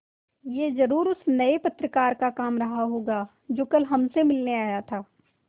यह ज़रूर उस नये पत्रकार का काम रहा होगा जो कल हमसे मिलने आया था